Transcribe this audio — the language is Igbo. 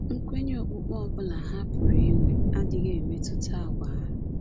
Nkwenye okpukpe ọ bụla ha pụrụ inwe adịghị emetụta àgwà ha.